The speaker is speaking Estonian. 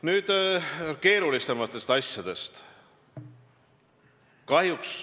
Nüüd keerulisematest asjadest.